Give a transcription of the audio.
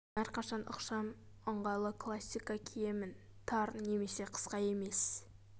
мен әрқашан ықшам ыңғайлы классика киемін тар немесе қысқа емес